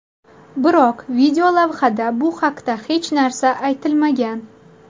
Biroq videolavhada bu haqda hech narsa aytilmagan.